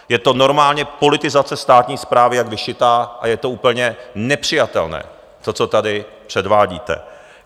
Je to normálně politizace státní správy jak vyšitá a je to úplně nepřijatelné, to, co tady předvádíte.